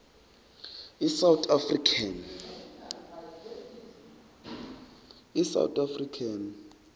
i south african